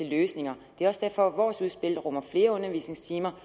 løsninger det er også derfor vores udspil rummer flere undervisningstimer